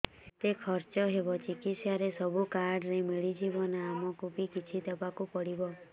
ଯେତେ ଖର୍ଚ ହେବ ଚିକିତ୍ସା ରେ ସବୁ କାର୍ଡ ରେ ମିଳିଯିବ ନା ଆମକୁ ବି କିଛି ଦବାକୁ ପଡିବ